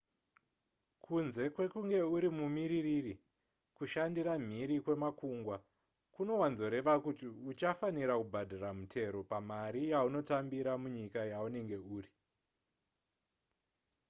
kunze kwekunge uri mumiririri kushandira mhiri kwemakungwa kunowanzoreva kuti uchafanira kubhadhara mutero pamari yaunotambira munyika yaunenge uri